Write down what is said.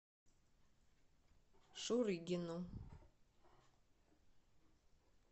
шурыгину